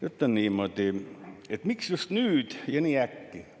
Ütlesin niimoodi: "Miks just nüüd ja nii äkki?